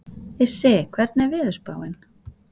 Issi, hvernig er veðurspáin?